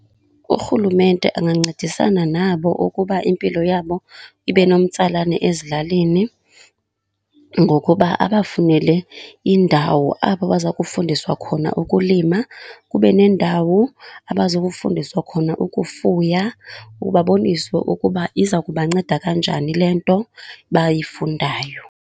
Urhulumente angancedisana nabo ukuba impilo yabo ibe nomtsalane ezilalini ngokuba abafunele indawo apho baza kufundiswa khona ukulima. Kube nendawo abazokufundisa khona ukufuya ukuba baboniswe ukuba iza kubanceda kanjani le nto bayifundayo.